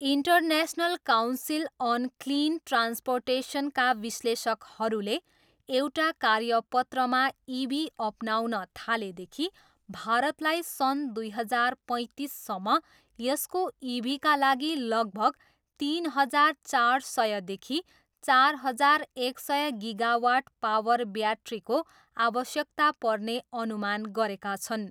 International council on clean ट्रान्सपोर्टेसनका विश्लेषकहरूले एउटा कार्यपत्रमा इभी अपनाउन थालेदेखि, भारतलाई सन् दुई हजार पैँतिससम्म यसको इभीका लागि लगभग तिन हजार चार सयदेखि चार हजार एक सय गिगावाट पावर ब्याट्रीको आवश्यकता पर्ने अनुमान गरेका छन्।